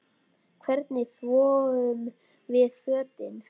Hvernig þvoum við fötin?